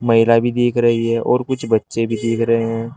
महिला भी दिख रही है और कुछ बच्चे भी दिख रहे हैं।